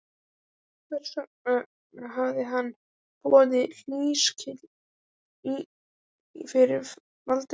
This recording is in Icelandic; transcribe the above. Hvers vegna hafði hann borið hlífiskjöld fyrir Valdimar?